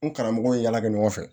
N karamɔgɔw ye yala kɛ ɲɔgɔn fɛ